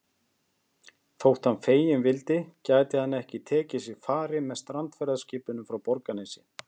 Þótt hann feginn vildi gæti hann ekki tekið sér fari með strandferðaskipinu frá Borgarnesi.